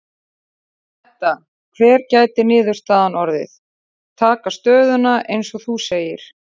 Edda: Hver gæti niðurstaðan orðið, taka stöðuna eins og þú segir?